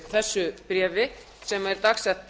þessu bréfi sem er dagsett